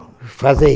Falei.